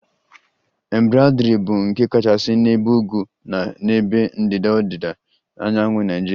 Embraderi bụ nke kachasị n'ebe ugwu na n'ebe ndịda ọdịda anyanwụ Naijiria